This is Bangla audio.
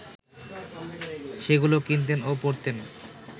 সেগুলো কিনতেন ও পড়তেন